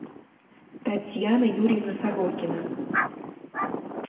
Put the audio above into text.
татьяна юрьевна сорокина